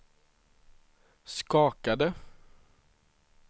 skakade